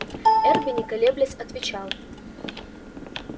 эрби не колеблясь отвечал